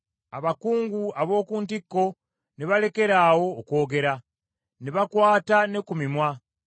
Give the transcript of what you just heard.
abakungu ab’oku ntikko ne balekeraawo okwogera, ne bakwata ne ku mimwa;